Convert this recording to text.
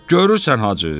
Görürsən, Hacı!